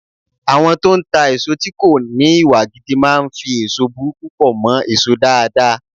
Àwọn tó ń ta èso tí kò ní Ìwà gidi máa ń fi èso burúkú pọ̀ mọ́ èso dáadáa.